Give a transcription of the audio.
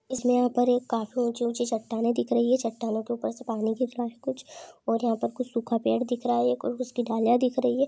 यहाँ पर काफी ऊँची ऊँची चट्टानें दिख रही है चट्टनो के ऊपर से पानी गिर रहा है कुछ और यहाँ पर कुछ सुखा पेड़ दिख रहा है एक और उसकी ढाले दिख रही है।